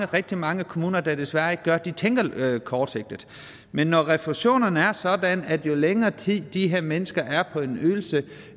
rigtig mange kommuner der desværre ikke gør de tænker kortsigtet men når refusionerne er sådan at jo længere tid de her mennesker er på en ydelse